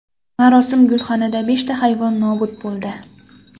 Marosim gulxanida beshta hayvon nobud bo‘ldi.